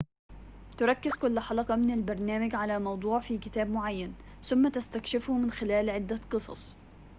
تركز كل حلقة من البرنامج على موضوع في كتاب معين ثم تستكشفه من خلال عدة قصص